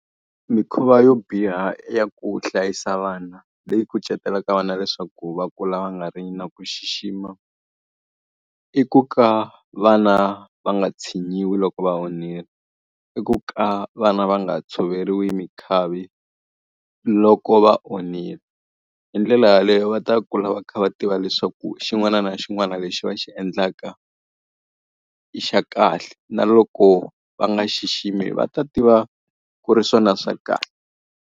Mikhuva yo biha ya ku hlayisa vana leyi kucetela ka vana leswaku va kula va nga ri na ku xixima. I ku ka vana va nga tshinyiwi loko va onhile, i ku ka vana va nga tshoveriwi minkhavi loko va onhile. Hi ndlela yaleyo va ta kula va kha va tiva leswaku xin'wana na xin'wana lexi va xi endlaka i xa kahle. Na loko va nga xiximi va ta tiva ku ri swona swa kahle.